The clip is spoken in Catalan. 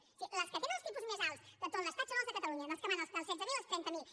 o sigui les que tenen els tipus més alts de tot l’estat són les de catalunya dels que van dels setze mil als trenta miler